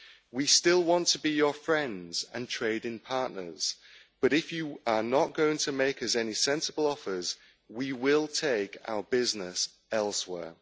We still want to be your friends and trading partners, but if you are not going to make us any sensible offers, we will take our business elsewhere.